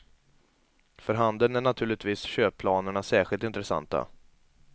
För handeln är naturligtvis köpplanerna särskilt intressanta.